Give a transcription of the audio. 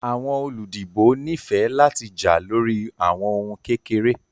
Awọn oludibo nifẹ lati ja lori awọn ohun kekere